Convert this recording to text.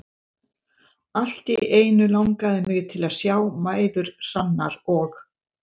Allt í einu langaði mig til að sjá mæður Hrannar og